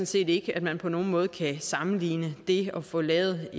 set ikke at man på nogen måde kan sammenligne det at få lavet